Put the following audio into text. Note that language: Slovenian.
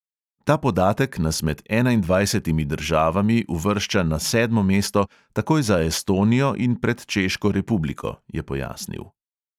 "Ta podatek nas med enaindvajsetimi državami uvršča na sedmo mesto, takoj za estonijo in pred češko republiko," je pojasnil.